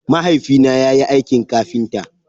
Mahaifi na yayi aikin kafinta.